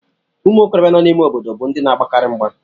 Ụmụ okorobịa nọ n'ime obodo bụ ndị na-agbakarị mgba